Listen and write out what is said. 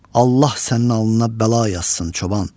Allah sənin alnına bəla yazsın çoban.